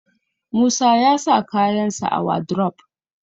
Musa ya sa kayansa a wadrof